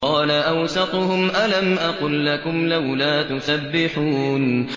قَالَ أَوْسَطُهُمْ أَلَمْ أَقُل لَّكُمْ لَوْلَا تُسَبِّحُونَ